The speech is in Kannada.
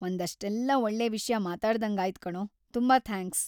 ಒಂದಷ್ಟೆಲ್ಲ ಒಳ್ಳೆ ವಿಷ್ಯ ಮಾತಾಡ್ದಂಗಾಯ್ತ್ ಕಣೋ! ತುಂಬಾ ‌ಥ್ಯಾಂಕ್ಸ್!